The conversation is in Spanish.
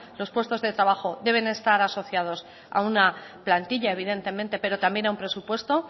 los puestos de trabajo deben estar asociados a una plantilla evidentemente pero también a un presupuesto